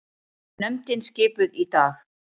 Nefndin skipuð í dag